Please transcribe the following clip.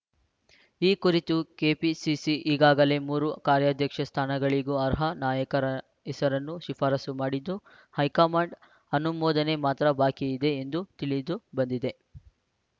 ಈ ಕುರಿತು ಕೆಪಿಸಿಸಿ ಈಗಾಗಲೇ ಮೂರು ಕಾರ್ಯಾಧ್ಯಕ್ಷ ಸ್ಥಾನಗಳಿಗೂ ಅರ್ಹ ನಾಯಕರ ಹೆಸರನ್ನು ಶಿಫಾರಸು ಮಾಡಿದ್ದು ಹೈಕಮಾಂಡ್‌ ಅನುಮೋದನೆ ಮಾತ್ರ ಬಾಕಿಯಿದೆ ಎಂದು ತಿಳಿದು ಬಂದಿದೆ